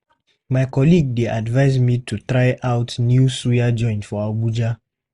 My colleague dey advise me to try out new suya joint for Abuja.